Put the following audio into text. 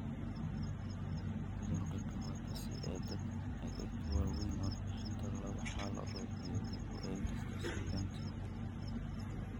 Cudurka Kawasaki ee dadka waaweyn: warbixinta laba xaaladood iyo dib u eegista suugaanta.